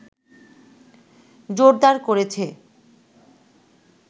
জোরদার করেছে